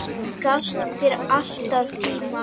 Gafst þér alltaf tíma.